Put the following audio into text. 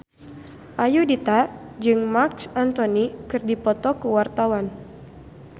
Ayudhita jeung Marc Anthony keur dipoto ku wartawan